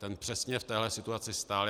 Ten přesně v téhle situaci stál.